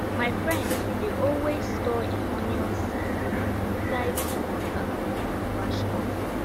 my friend dey always store e onion seed um inside small um calabash cup